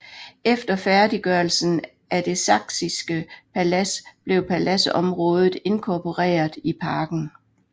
Efter færdiggørelsen af Det saksiske palads blev paladsområdet inkorporeret i parken